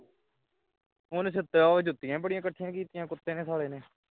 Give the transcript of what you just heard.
ਉਹਨੇ ਸੁੱਤਿ~ਜੁੱਤੀਆਂ ਬੜੀ ਘਟੀਆ ਕੀਤੀਆਂ ਨੇ ਕੁੱਤੇ ਨੇ ਸਾਲੇ ਨੇ